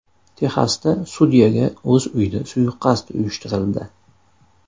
Texasda sudyaga o‘z uyida suiqasd uyushtirildi.